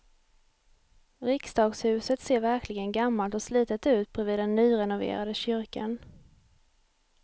Riksdagshuset ser verkligen gammalt och slitet ut bredvid den nyrenoverade kyrkan.